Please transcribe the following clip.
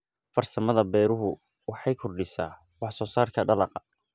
Farsamada beeruhu waxay kordhisaa wax soo saarka dalagga.